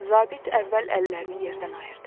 Zabit əvvəl əllərini yerdən ayırdı.